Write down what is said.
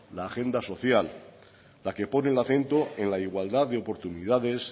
la agenda social la que pone el acento en la igualdad de oportunidades